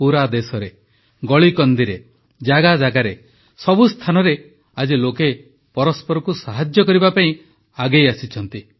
ପୁରା ଦେଶରେ ଗଳିକନ୍ଦିରେ ଜାଗାଜାଗାରେ ସବୁ ସ୍ଥାନରେ ଆଜି ଲୋକେ ପରସ୍ପରକୁ ସାହାଯ୍ୟ କରିବା ପାଇଁ ଆଗେଇ ଆସିଛନ୍ତି